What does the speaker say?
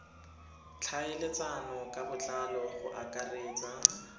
tlhaeletsano ka botlalo go akaretsa